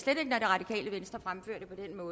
og